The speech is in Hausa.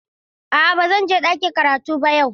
A'a ba zan je ɗakin karatu ba yau.